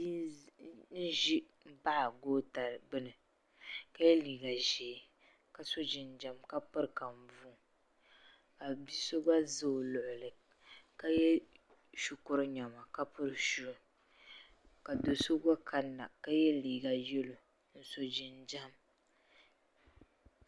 Bia n ʒi m baɣa goota gbini ka ye liiga ʒee ka so jinjiɛm ka piri namda ka bia so za o luɣuli ka ye shukuru niɛma ka piri shuu ka do'so gba kanna ka ye liiga yelo ka so jinjiɛm.